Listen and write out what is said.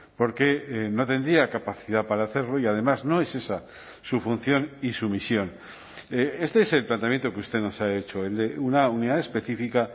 porque no tendría capacidad para hacerlo y además no es esa su función y su misión este es el planteamiento que usted nos ha hecho el de una unidad específica